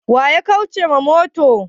Waya karce ma mota?